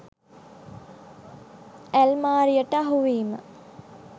ඇල්මාරියට අහුවීම